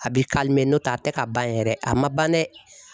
A bi nɔntɛ a tɛ ka ban yɛrɛ, a ma ban dɛ.